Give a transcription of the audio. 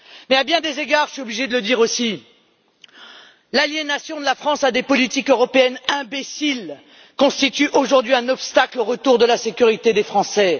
Mais, à bien des égards je suis obligée de le dire aussi l'aliénation de la France à des politiques européennes imbéciles constitue aujourd'hui un obstacle au retour de la sécurité des Français.